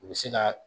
U bɛ se ka